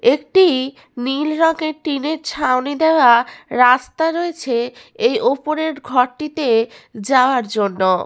একটি-ই নীল রঙের টিনের ছাউনি দেওয়া রাস্তা রয়েছে এই ওপরের ঘরটিতে যাওয়ার জন্য।